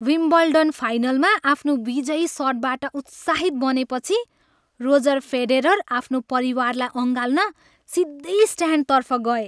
Wimbledon फाइनलमा आफ्नो विजयी सटबाट उत्साहित बनेपछि रोजर फेडेरर आफ्नो परिवारलाई अँगाल्न सिधै स्ट्यान्डतर्फ गए।